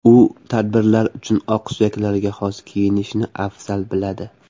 U tadbirlar uchun oqsuyaklarga xos kiyinishni afzal biladi.